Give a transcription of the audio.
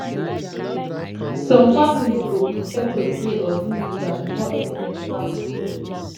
some families go prefer to pray or do ritual before any medical procedure